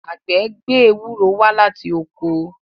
àgbẹ̀ gbé Ewúro wá láti oko.